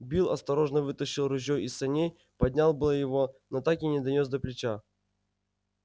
билл осторожно вытащил ружьё из саней поднял было его но так и не донёс до плеча